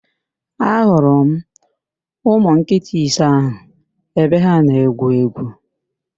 Ị hụrụ ụmụ nkịta ise ahụ ebe ha na-egwu égwú?